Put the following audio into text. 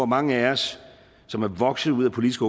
mange af os som er vokset ud af politiske